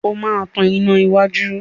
O máa tan iná iwájú.